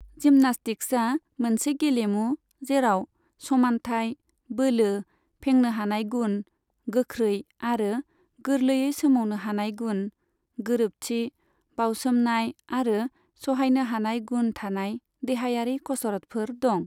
जिमनास्टिक्सा मोनसे गेलेमु, जेराव समान्थाय, बोलो, फेंनो हानाय गुन, गोख्रै आरो गोरलैयै सोमावनो हानाय गुन, गोरोबथि, बाउसोमनाय आरो सहायनो हानाय गुन थानाय देहायारि खसरतफोर दं।